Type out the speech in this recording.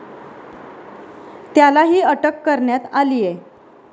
त्यालाही अटक करण्यात आलीय.